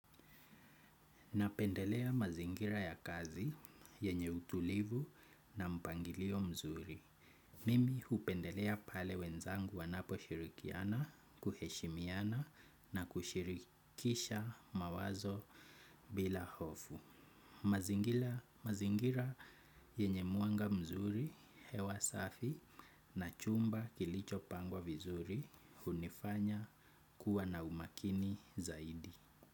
Napendelea mazingira ya kazi yenye utulivu na mpangilio mzuri. Mimi hupendelea pale wenzangu wanapo shirikiana, kuheshimiana na kushirikisha mawazo bila hofu. Mazingira yenye mwanga mzuri hewa safi na chumba kilichopangwa vizuri unifanya kuwa na umakini zaidi.